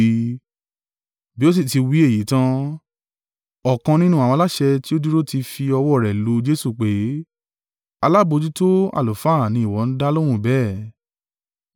Bí ó sì ti wí èyí tan, ọ̀kan nínú àwọn aláṣẹ tí ó dúró tì í fi ọwọ́ rẹ̀ lu Jesu, pé, “Alábojútó àlùfáà ni ìwọ ń dá lóhùn bẹ́ẹ̀?”